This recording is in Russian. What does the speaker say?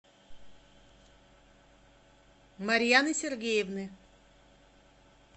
марьяны сергеевны